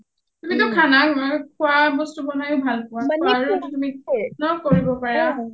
তুমিটো খানা খোৱা বস্তু বনাইয়ে ভাল পোৱা পঢ়া শুনায়ো কৰিব পাৰা